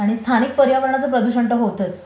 आणि स्थानिक पर्यावरणाचं प्रदूषण तर होतंच